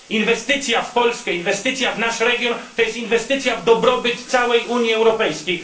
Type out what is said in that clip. Inwestycja w Polskę, inwestycja w nasz region, to jest inwestycja w dobrobyt całej Unii Europejskiej.